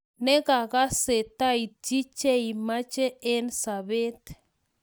Ngegasee kaitchi cheimache eng sobaet